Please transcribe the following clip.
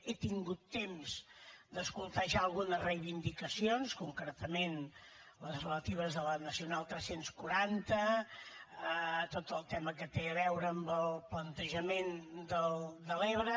he tingut temps d’escoltar ja algunes reivindicacions concretament les relatives a la nacional tres cents i quaranta a tot el tema que té a veure amb el plantejament de l’ebre